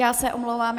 Já se omlouvám.